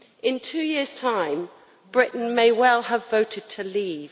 In two years' time Britain may well have voted to leave.